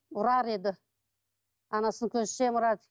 ұрар еді анасының көзінше ұрады